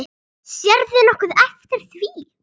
Sérðu nokkuð eftir því?